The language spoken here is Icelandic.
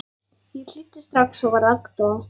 Ég hlýddi strax og varð agndofa.